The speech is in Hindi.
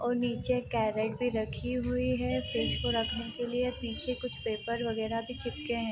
और नीचे कैरट भी रखी हुई है फ्रिज को रखने के लिए | पीछे कुछ पेपर वगैरा भी चिपके हैं।